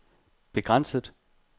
begrænset